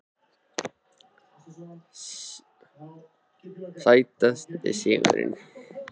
Sætasti sigurinn?